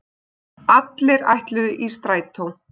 Allir ætluðu í Strætó!